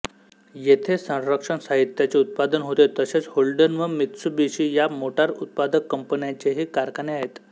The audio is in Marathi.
येथे संरक्षण साहित्याचे उत्पादन होते तसेच होल्डन व मित्सुबिशी या मोटार उत्पादक कंपन्यांचेही कारखाने आहेत